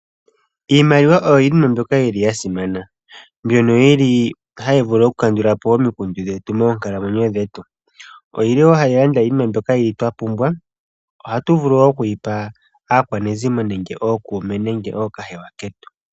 Iimaliwa oyo iinima mbyoka yili yasimana, mbyono yili hayi vulu oku kandulapo omikundu dhetu moonkalamwenyo dhetu. Oyili woo hayi landa yimwe mbyoka yili twapumbwa. Ohatu vulu woo okuyipa aakwanezimo nenge ookuume nenge ookahewa ketu.